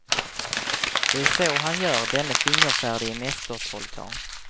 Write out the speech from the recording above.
Det är så han gör, denne fingerfärdige mästertrollkarl.